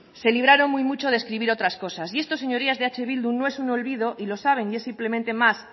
se libraron muy mucho de escribir otras cosas y esto señorías de eh bildu no es un olvido y lo saben y es simplemente más